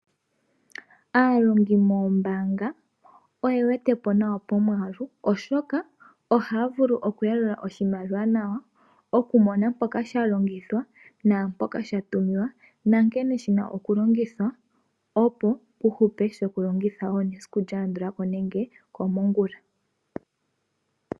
Aalongi moombaanga oye wete po nawa pomwaalu oshoka ohaya vulu okuyalula oshimaliwa nawa, okumona mpoka sha longithwa naampoka sha tulwa, nankene shi na okulongithwa opo pu hupe sho ku longitho wo esiku lya landula ko, nenge komongula.